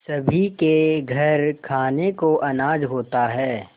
सभी के घर खाने को अनाज होता है